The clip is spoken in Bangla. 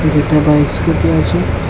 একটা বাইক স্কুটি আছে।